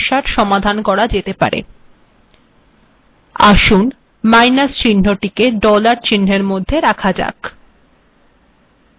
এইক্ষেত্রে মাইনাস চিহ্নটিকেও ডলারের মধ্যে লেখা যাক